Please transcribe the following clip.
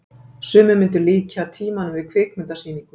sumir myndu líkja tímanum við kvikmyndasýningu